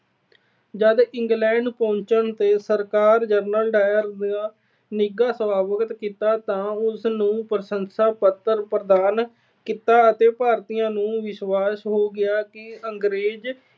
ਜਦ England ਪਹੁੰਚਣ ਤੇ ਸਰਕਾਰ ਨੇ General Dyer ਦਾ ਨਿੱਘਾ ਸੁਆਗਤ ਕੀਤਾ ਤੇ ਉਸ ਨੂੰ ਪ੍ਰਸ਼ੰਸ਼ਾ ਪੱਤਰ ਪ੍ਰਦਾਨ ਕੀਤਾ ਤਾਂ ਭਾਰਤੀਆਂ ਨੂੰ ਵਿਸ਼ਵਾਸ ਹੋ ਗਿਆ ਕਿ ਅੰਗਰੇਜ